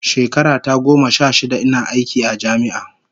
Shekara ta goma sha shida ina aiki a jami'a